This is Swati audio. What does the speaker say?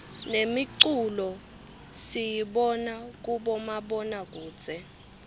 nemiculo siyibona kubomabonakudze